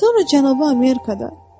Sonra Cənubi Amerikada.